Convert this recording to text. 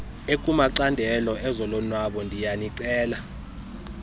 ekumacandelo ezolonwabo ndiyanicela